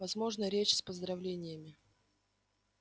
возможно речь с поздравлениями